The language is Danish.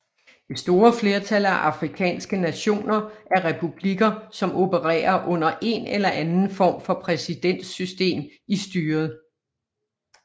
Det store flertal af afrikanske nationer er republikker som opererer under en eller anden form for præsidentsystem i styret